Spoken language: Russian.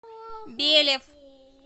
белев